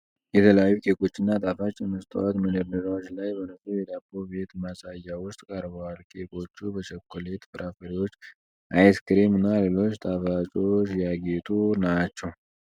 የተለያዩ ኬኮችና ጣፋጮች በመስታወት መደርደሪያዎች ላይ በንጹህ የዳቦ ቤት ማሳያ ውስጥ ቀርበዋል። ኬኮቹ በቸኮሌት፣ ፍራፍሬዎች፣ አይስክሬም እና ሌሎች ጣፋጮች ያጌጡ ናቸው።